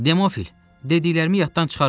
Demofil, dediklərimi yaddan çıxarma!